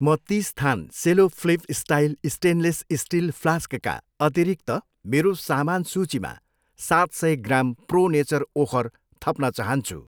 म तिस थान Cello flip style stainless steel फ्लास्कका अतिरिक्त मेरो सामान सूचीमा सात सय ग्राम प्रो नेचर ओखर थप्न चाहन्छु।